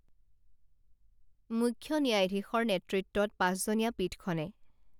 মুখ্য ন্যায়াধীশৰ নেতৃত্বত পাঁচজনীয়া পীঠখনে